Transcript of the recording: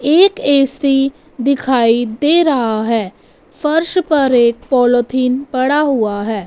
एक ए_सी दिखाई दे रहा है फर्श पर एक पोलोथिन पड़ा हुआ है।